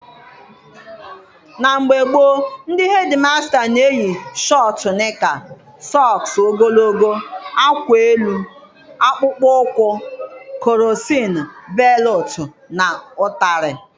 Na mgbe gboo, ndị hedịmasta na-eyi shọtụ nịka, sọks ogologo, akwa elu, akpụkpọ ụkwụ, krọsin belụtụ na ụtarị.